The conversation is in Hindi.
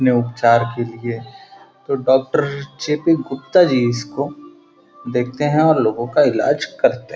ने उपचार के लिए तो डॉक्टर जे.पी. गुप्ता जी इसको देखते हैं और लोगों का इलाज करते --